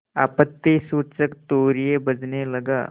आपत्तिसूचक तूर्य बजने लगा